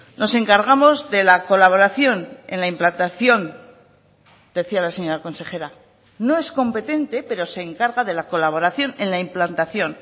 nos encargamos de la colaboración en la implantación decía la señora consejera no es competente pero se encarga de la colaboración en la implantación